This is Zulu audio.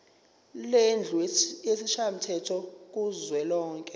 lendlu yesishayamthetho kuzwelonke